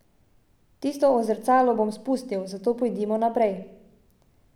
Tisto o zrcalu bom spustil, zato pojdimo naprej.